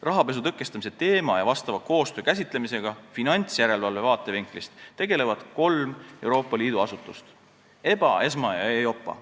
Rahapesu tõkestamise teema ja vastava koostöö käsitlemisega finantsjärelevalve vaatevinklist tegelevad kolm Euroopa Liidu asutust: EBA, ESMA ja EIOPA.